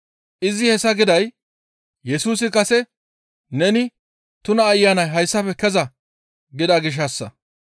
Izi hessa giday Yesusi kase, «Neni tuna ayanay hayssafe keza» gida gishshassa.